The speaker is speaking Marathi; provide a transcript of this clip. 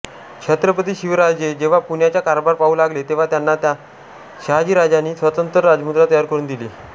छत्रपती शिवाजीराजे जेव्हा पुण्याचा कारभार पाहू लागले तेव्हा त्यांना शहाजीराजांनी स्वतंत्र राजमुद्रा तयार करून दिली